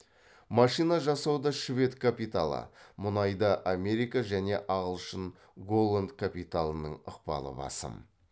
машина жасауда швед капиталы мұнайда америка және ағылшын голланд капиталының ықпалы басым